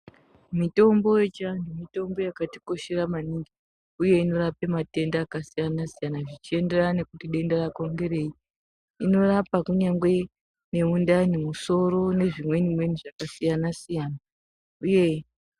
Mitombo yechiantu mitombo yakatikoshera mwaningi uye inorapa matenda akasiyana zvichienderana kuti denda rako ngerei .Inorapa kunyange nemundani ,musoro nezvimweni mweni zvakasiyana siyana .